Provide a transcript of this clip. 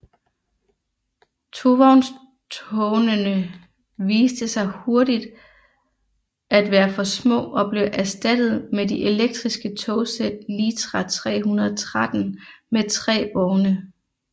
Tovognstognene viste sig hurtigt at være for små og blev erstattet med de elektriske togsæt litra 313 med tre vogne